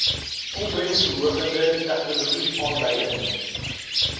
opbrengsverhogende tegnologie aanleiding